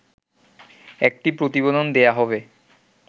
একটি প্রতিবেদন দেয়া হবে